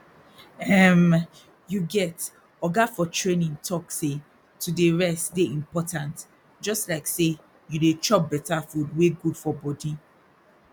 ermmy you get oga for training talk say to dey rest dey important jus like say you dey chop better food wey good for body